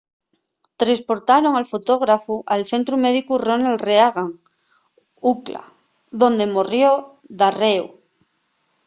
tresportaron al fotógrafu al centru médicu ronald reagan ucla onde morrió darréu